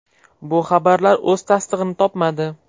Bu xabarlar o‘z tasdig‘ini topmadi.